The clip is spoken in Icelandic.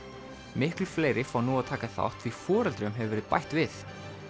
miklu fleiri fá nú að taka þátt því foreldrum hefur verið bætt við